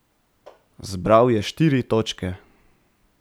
Zbral je štiri točke.